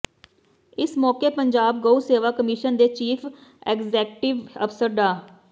ਇਸ ਮੌਕੇ ਪੰਜਾਬ ਗਊ ਸੇਵਾ ਕਮਿਸ਼ਨ ਦੇ ਚੀਫ਼ ਐਗਜ਼ੈਕਟਿਵ ਅਫ਼ਸਰ ਡਾ